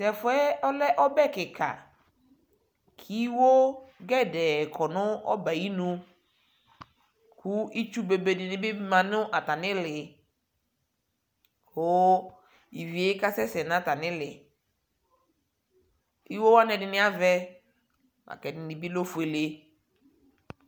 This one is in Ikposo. Tɛfʋɛ ɔlɛ ɔbɛ kιka, iwo gedee kɔ nʋ ɔbɛ yɛ ayinu, kʋ itsu bebe dι nι bι ma nʋ atamι ιlι kʋ ivi yɛ kasɛsɛ nʋ atamι ιlιIwo wanι ɛdιnι avɛ, ɛdιnι bιlɛ ofuele